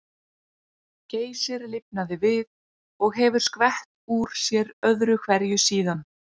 Geysir lifnaði við og hefur skvett úr sér öðru hverju síðan.